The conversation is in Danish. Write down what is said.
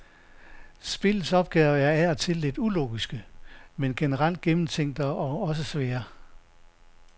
Spillets opgaver er af og til lidt ulogiske, men generelt gennemtænkte og også svære.